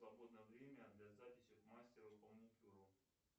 свободное время для записи к мастеру по маникюру